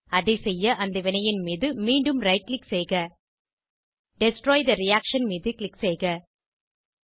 அதை செய்ய அந்த வினையின் மீது மீண்டும் ரைட் க்ளிக் செய்க டெஸ்ட்ராய் தே ரியாக்ஷன் மீது க்ளிக் செய்க